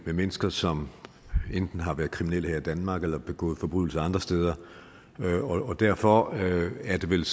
mennesker som enten har været kriminelle her i danmark eller begået forbrydelser andre steder derfor er det vel